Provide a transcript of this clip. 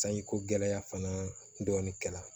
Sanji ko gɛlɛya fana dɔɔnin kɛra